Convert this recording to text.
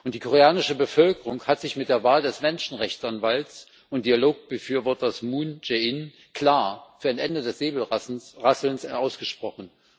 Die koreanische Bevölkerung hat sich mit der Wahl des Menschrechtsanwalts und Dialogbefürworters Moon Jae in klar für ein Ende des Säbelrasselns ausgesprochen.